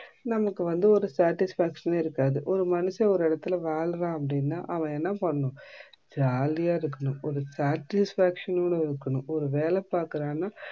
நமக்கு வந்து ஒரு satisfaction யே இருக்காது. ஒரு மனுஷன் ஒரு இடத்துல வாழுறான் அப்டினா அவன் என்ன பண்ணனும் jolly ஆ இருக்கணும், ஒரு satisfaction னோட இருக்கணும்